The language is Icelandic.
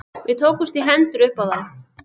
Við tókumst í hendur upp á það.